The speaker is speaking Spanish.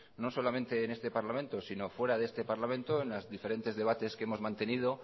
no solamente en este parlamento sino fuera de este parlamento en los diferentes debates que hemos mantenido